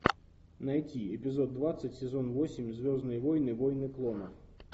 найти эпизод двадцать сезон восемь звездные войны войны клонов